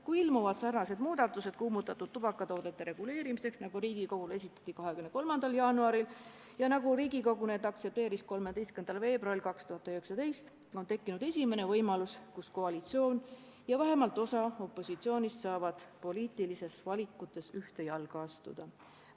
Kui ilmuvad sarnased muudatused kuumutatud tubakatoodete reguleerimiseks, nagu Riigikogule esitati 23. jaanuaril ja nagu Riigikogu neid aktsepteeris 13. veebruaril, on tekkinud esimene võimalus, et koalitsioon ja vähemalt osa opositsioonist saavad poliitilistes valikutes ühte jalga astuda.